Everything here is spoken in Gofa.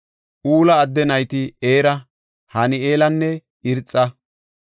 Ula adde nayti Era, Han7eelanne Irxa.